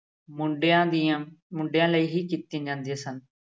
ਮੁੰਡਿਆਂ ਦੀਆਂ ਮੁੰਡਿਆ ਲਈ ਹੀ ਕੀਤੀਆਂ ਜਾਂਦੀਆਂ ਸਨ।